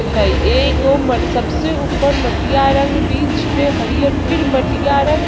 हेय एगो मर सबसे ऊपर मटिया रंग बीच में हरियर फिर मटिया रंग --